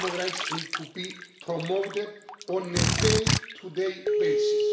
Human rights need to be promoted on a day-to-day basis.